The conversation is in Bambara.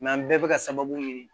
an bɛɛ bɛ ka sababu ye